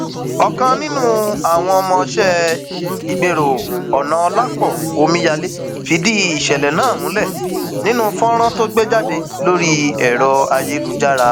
ọkan nínú àwọn ọmọọṣẹ ìgbérò onàọlàpọ omíyalé fìdí ìṣẹlẹ náà múlẹ nínú fọnrán tó gbé jáde lórí ẹrọ ayélujára